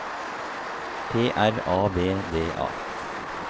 P R A V D A